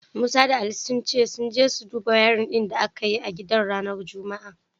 Musa da Ali sun ce sun je su duba aikin wayarin din da aka yi a gidan ranar Juma'a.